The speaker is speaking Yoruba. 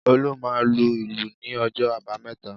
Olú máa lu ìlù ní ọjọ́ àbámẹ́ta